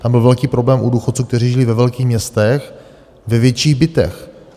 Tam byl velký problém u důchodců, kteří žijí ve velkých městech ve větších bytech.